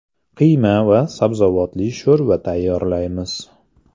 Qiyma va sabzavotli sho‘rva tayyorlaymiz.